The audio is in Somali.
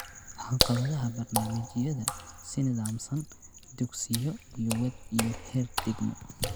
Caqabadaha barnaamijyada si nidaamsan, dugsiyo, iyo waadh iyo heer degmo.